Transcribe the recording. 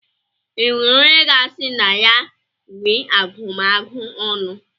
E nwere onye ga-asị na ya nwe agụmagụ ọnụ?